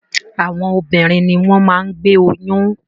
Àwọn obìnrin ni wọ́n máa ń gbé oyún.